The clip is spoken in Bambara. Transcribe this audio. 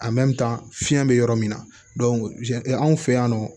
fiɲɛ be yɔrɔ min na anw fɛ yan nɔ